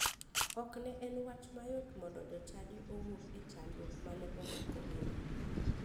Ok ne en wach mayot mondo jochadi owuog e chandruok mane omakogino.